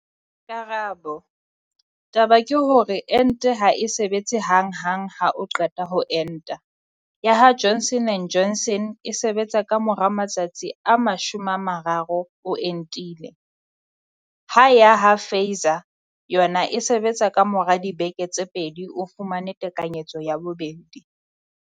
Karabo- Taba ke hore ente ha e sebetse hang hang ha o qeta ho enta, ya ha Johnson and Johnson e sebetsa ka mora matsatsi a 30 o entile, ha ya ha Pfizer yona e sebetsa ka mora dibeke tse pedi o fumane tekanyetso ya bobedi.